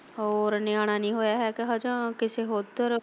ਹੋਰ ਨਿਆਣਾ ਨੀ ਹੋਇਆ ਹੈ ਕਿ ਹਜੇ ਕਿਸੇ ਹੋਰ ਤਰਾਂ।